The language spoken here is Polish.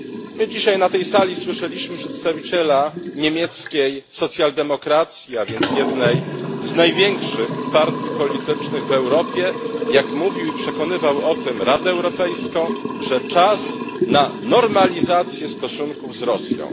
My dzisiaj na tej sali słyszeliśmy przedstawiciela niemieckiej socjaldemokracji, a więc jednej z największych partii politycznych w Europie, jak mówił i przekonywał o tym Radę Europejską, że czas na normalizację stosunków z Rosją.